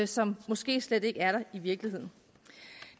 som måske slet ikke er der i virkeligheden